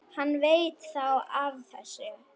Hann veit þá af þessu?